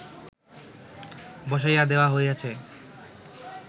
বসাইয়া দেওয়া হইয়াছে